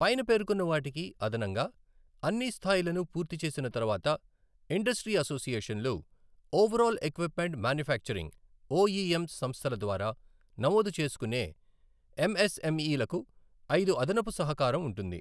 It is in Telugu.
పైన పేర్కొన్న వాటికి అదనంగా, అన్ని స్థాయిలను పూర్తి చేసిన తర్వాత ఇండస్ట్రీ అసోసియేషన్లు ఓవరాల్ ఎక్విప్మెంట్ మాన్యుఫ్యాక్చరింగ్ ఓఈఎం సంస్థల ద్వారా నమోదు చేసుకునే ఎంఎస్ఎంఈలకు ఐదు అదనపు సహకారం ఉంటుంది.